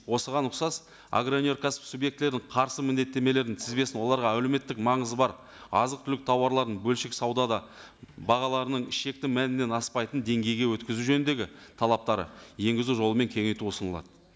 осыған ұқсас агроөнеркәсіп субъектілерін қарсы міндеттемелерін тізбесін оларға әлеуметтік маңызы бар азық түлік тауарларын бөлшек саудада бағаларының шекті мәнінен аспайтын деңгейге өткізу жөніндегі талаптары енгізу жолымен кеңейту ұсынылады